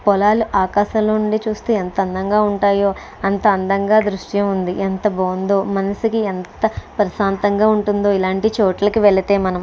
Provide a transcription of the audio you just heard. పొలాలు ఆకాశంలో ఉండి చూస్తే ఎంత అందంగా ఉంటాయో అంత అందంగా దృశ్యం ఉంది ఎంత బాగుందో మనసుకి ఎంత ప్రశాంతంగా ఉంటుందో ఇలాంటి చోట్లకి వెళితే మనం.